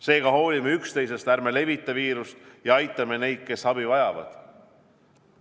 Seega hoolime üksteisest, ärme levitame viirust ja aitame neid, kes abi vajavad.